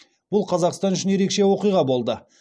бұл қазақстан үшін ерекше оқиға болды